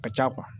Ka ca